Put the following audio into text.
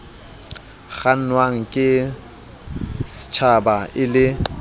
kgannwang ke stjhaba e le